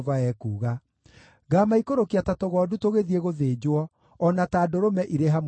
“Ngaamaikũrũkia ta tũgondu tũgĩthiĩ gũthĩnjwo, o na ta ndũrũme irĩ hamwe na thenge.